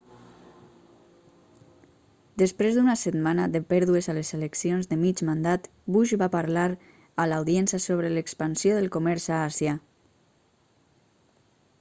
després d'una setmana de pèrdues a les eleccions de mig mandat bush va parlar a l'audiència sobre l'expansió del comerç a àsia